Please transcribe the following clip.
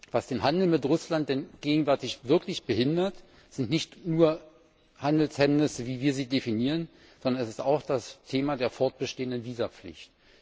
Was den Handel mit Russland gegenwärtig wirklich behindert, sind nicht nur Handelshemmnisse, wie wir sie definieren, sondern das ist auch das Thema der fortbestehenden Visapflicht.